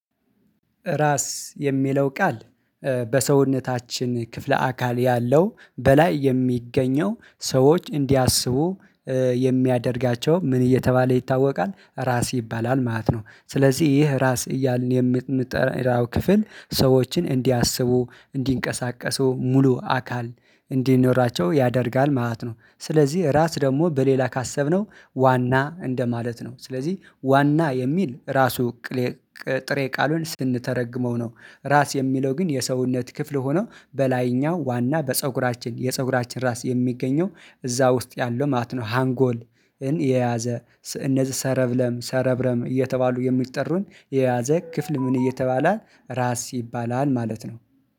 ራስ የሚለው ቃል በሰውነታችን ክፍለ አካል ያለው በላይ የሚገኘው ሰዎች እንዲያስቡ የሚያደርጋቸው ምን እየተባለ ይታወቃል? ራስ ይባላል ማለት ነው። ስለዚህ ይህ ራስ እያልን የምንጠራው ክፍል ሰዎችን እንዲያስቡ እንዲንቀሳቀሱ ሙሉ አካል እንዲኖራቸው ያደርጋል ማለት ነው። ስለዚህ ራስ ደግሞ በሌላ ካሰብነው ዋና እንደማለት ነው። ስለዚህ ዋና የሚል ራሱ ጥሬ ቃሉን ስንተረጉመው ነው። ራስ የሚለው ግን የሰውነት ክፍል ሆኖ በላይኛው ዋና በፀጉራችን የፀጉራችን ራስ የሚገኘው እዛ ውስጥ ያለው ማለት ነው። ሃንጎልን የያዘ እነዚህ ሰረብለም ሰረብረም እየተባሉ የሚጠሩን የያዘ ክፍል ምን እየተባለ ራስ ይባላል ማለት ነው።